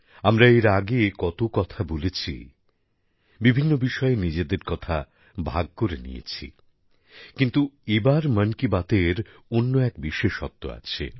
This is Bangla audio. আমরা এর আগে কত কথা বলেছি বিভিন্ন বিষয়ে নিজেদের কথা ভাগ করে নিয়েছি কিন্তু এবার মন কি বাতের অন্য এক বিশেষত্ব আছে